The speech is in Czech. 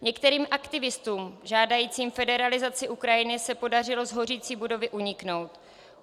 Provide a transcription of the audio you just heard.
Některým aktivistům žádajícím federalizaci Ukrajiny se podařilo z hořící budovy uniknout.